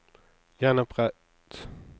gjenopprett